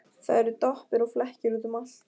Það eru doppur og flekkir út um allt.